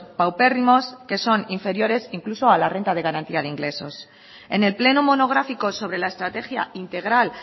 paupérrimos que son inferiores incluso a la renta de garantía de ingresos en el pleno monográfico sobre la estrategia integral